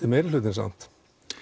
er meirihlutinn samt